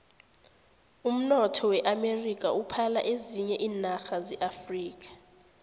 umnotho weamerika uphala ezinye iinarha zeafrika